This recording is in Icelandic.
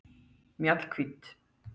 Mjallhvít